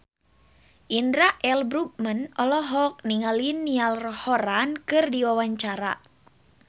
Indra L. Bruggman olohok ningali Niall Horran keur diwawancara